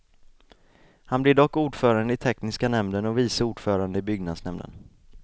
Han blev dock ordförande i tekniska nämnden och vice ordförande i byggnadsnämnden.